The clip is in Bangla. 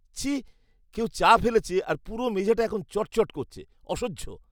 ছিঃ! কেউ চা ফেলেছে, আর পুরো মেঝেটা এখন চটচট করছে। অসহ্য!